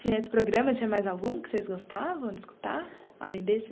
Tinha esse programa, tinha mais algum que vocês gostavam de escutar, além desse?